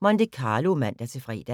Monte Carlo, fortsat (man-fre)